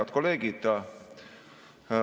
Head kolleegid!